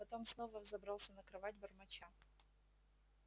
потом снова взобрался на кровать бормоча